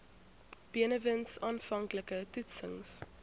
benewens aanvanklike toetsings